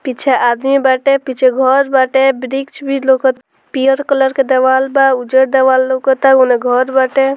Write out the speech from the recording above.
पीछा आदमी बाटे पीछे घर बाटे बृक्ष भी लउकत पियर कलर के देवाल बा उजर देवार लउकता ओने घर बाटे |